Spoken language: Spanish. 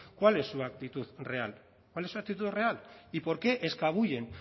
cuál es su actitud real cuál es su actitud real y por qué escabullen